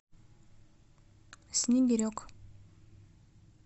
снегирек